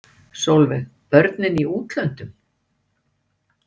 Sólveig: Börnin í útlöndum?